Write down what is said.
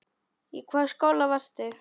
Í hvaða skóla varstu?